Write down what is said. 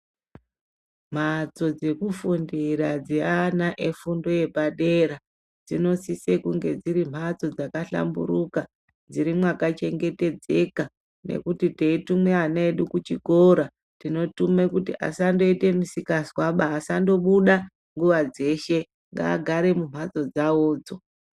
Mhatso dzekufundira dzeana efundo yepadera, dzinosise kunge dziri mhatso dzakahlamburuka, dziri mwakachengetedzeka nekuti teitume ana edu kuchikora tinotume kuti asaite mizikazwaba, asandobuda nguva dzeshe ngaagare mumhatso dzawodzo.